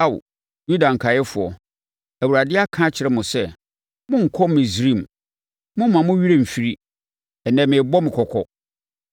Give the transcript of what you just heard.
“Ao Yuda nkaeɛfoɔ, Awurade aka akyerɛ mo sɛ, ‘Monnkɔ Misraim.’ Mommma mo werɛ mfiri. Ɛnnɛ merebɔ mo kɔkɔ